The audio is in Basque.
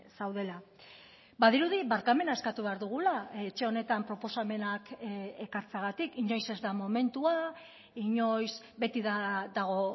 zaudela badirudi barkamena eskatu behar dugula etxe honetan proposamenak ekartzeagatik inoiz ez da momentua inoiz beti dago